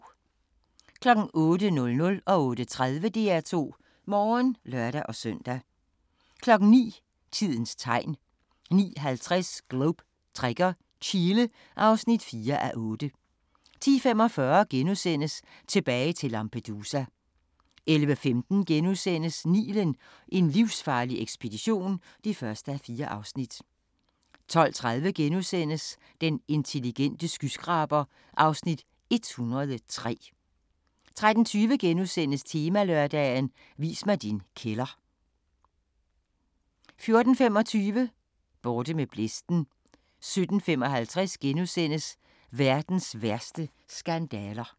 08:00: DR2 Morgen (lør-søn) 08:30: DR2 Morgen (lør-søn) 09:00: Tidens Tegn 09:50: Globe Trekker - Chile (4:8) 10:45: Tilbage til Lampedusa * 11:45: Nilen: En livsfarlig ekspedition (1:4)* 12:30: Den intelligente skyskraber (Afs. 103)* 13:20: Temalørdag: Vis mig din kælder * 14:25: Borte med blæsten 17:55: Verdens værste skandaler *